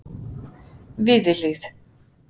Víðihlíð